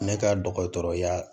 Ne ka dɔgɔtɔrɔya